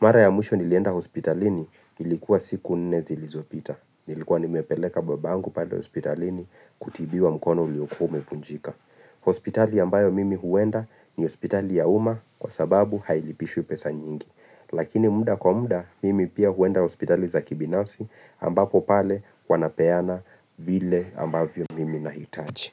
Mara ya mwisho nilienda hospitalini ilikuwa siku nne zilizopita. Nilikuwa nimepeleka babangu pale hospitalini kutibiwa mkono uliokuwa umevunjika. Hospitali ambayo mimi huenda ni hospitali ya uma kwa sababu hailipishwi pesa nyingi. Lakini muda kwa muda, mimi pia huenda hospitali za kibinafsi ambapo pale wanapeana vile ambavyo mimi nahitaji.